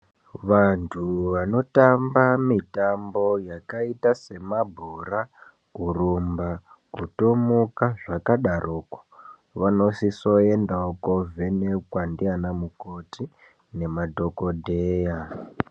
Vantu vanotamba mitambo yakaita semabhora kurumba kutomuka zvakadaroko vanosise kuendawo kundovhenekwa ndivana mukoti nemadhokoteya.